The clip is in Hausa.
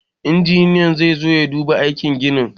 Injiniyan zai zo ya duba aikin ginin.